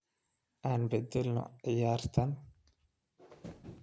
aan bedelno ciyaartan